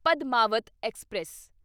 Padmaavat express